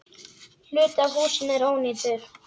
Hluti af húsinu er ónýtur.